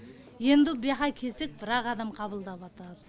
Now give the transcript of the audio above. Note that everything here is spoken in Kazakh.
енді буяха кесек бір ақ адам қабылдаватыр